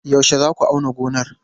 Yaushe za ku auna gonar?